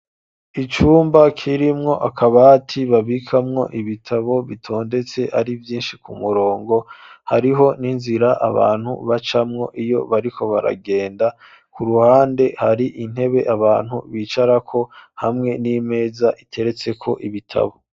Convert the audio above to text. Icumba, kirimwo akabati, babikamwo ibitabo; bitondetse ari vyinshi, ku murongo; hariho n'inzira, abantu bacamwo, iyo bariko baragenda; ku ruhande, hari intebe, abantu bicarako, hamwe n'imeza, iteretseko ibitabo.